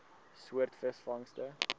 soort visvangste